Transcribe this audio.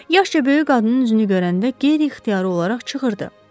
Yaşca böyük qadının üzünü görəndə qeyri-ixtiyari olaraq çığırdı.